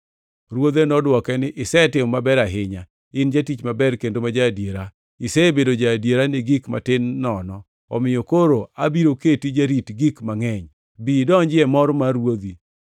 “Ruodhe nodwoke ni, ‘Isetimo maber ahinya. In jatich maber kendo ma ja-adiera! Isebedo ja-adiera gi gik matin nono, omiyo koro abiro keti jarit gik mangʼeny. Bi idonji e mor mar ruodhi!’